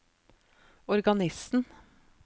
organisten